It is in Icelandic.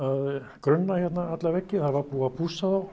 grunna hérna alla veggi búið að pússa þá